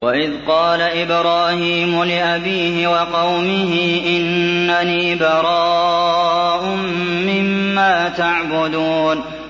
وَإِذْ قَالَ إِبْرَاهِيمُ لِأَبِيهِ وَقَوْمِهِ إِنَّنِي بَرَاءٌ مِّمَّا تَعْبُدُونَ